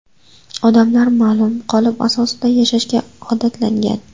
Odamlar ma’lum qolip asosida yashashga odatlangan.